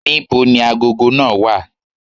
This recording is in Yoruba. Ní bo ni agogo náà wà?